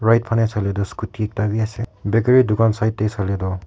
iphane sailetu scooty ekta wi ase bakery dukan side tey saile toh.